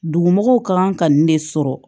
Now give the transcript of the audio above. Dugumɔgɔw kan ka nin de sɔrɔ